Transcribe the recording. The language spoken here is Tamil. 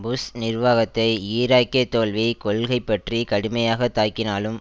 புஷ் நிர்வாகத்தை ஈராக்கிய தோல்வி கொள்கை பற்றி கடுமையாக தாக்கினாலும்